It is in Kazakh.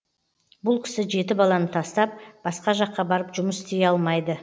бұл кісі жеті баланы тастап басқа жаққа барып жұмыс істей алмайды